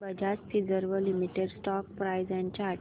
Bajaj Finserv limited stock price and chart